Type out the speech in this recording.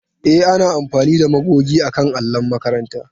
E, ana amfani da magogi akan allon makaranta.